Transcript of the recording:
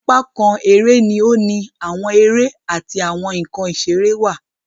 Apá nkán eré ni o ni awọn eré ati awọn nkán iṣere wá